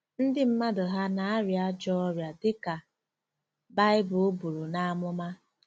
Ndị mmadụ hà na-arịa ajọ ọrịa dị ka Baịbụl buru n’amụma?